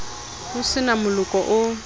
ho se na moloko o